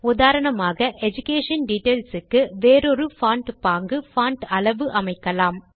உதாரணமாக education details க்கு வேறொரு பான்ட் பாங்கு பான்ட் அளவு அமைக்கலாம்